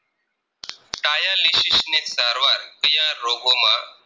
કયા રોગોમાં